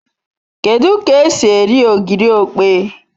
Kedu k'esi eri ogiri okpei